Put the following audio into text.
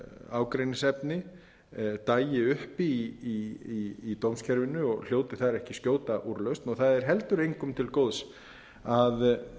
ágreiningsefni dagi uppi í dómskerfinu og hljóti þar ekki skjóta úrlausn og það er heldur engum til góðs að